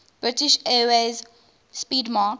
british airways 'speedmarque